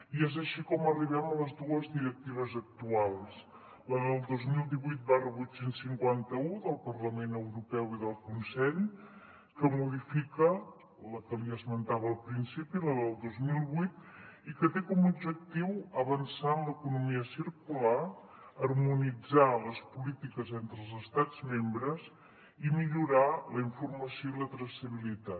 i és així com arribem a les dues directives actuals la del dos mil divuit vuit cents i cinquanta un del parlament europeu i del consell que modifica la que li esmentava al principi la del dos mil vuit i que té com a objectiu avançar en l’economia circular harmonitzar les polítiques entre els estats membres i millorar la informació i la traçabilitat